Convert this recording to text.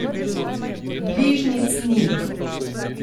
Bližnjic ni.